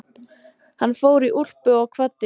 Hann fór í úlpu og kvaddi.